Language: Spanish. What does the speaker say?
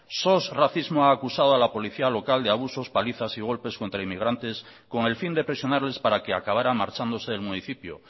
sos racismo ha acusado a la policía local de abusos palizas y golpes contra inmigrantes con el fin de presionarles para que acabaran marchándose del municipio